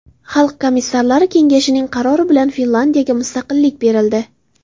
Xalq komissarlari kengashining qarori bilan Finlyandiyaga mustaqillik berildi.